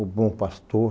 O Bom Pastor.